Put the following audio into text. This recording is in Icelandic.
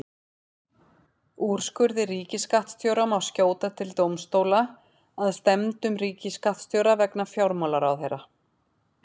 Úrskurði ríkisskattstjóra má skjóta til dómstóla að stefndum ríkisskattstjóra vegna fjármálaráðherra.